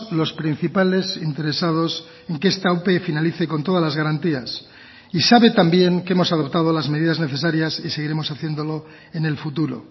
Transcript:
los principales interesados en que esta ope finalice con todas las garantías y sabe también que hemos adoptado las medidas necesarias y seguiremos haciéndolo en el futuro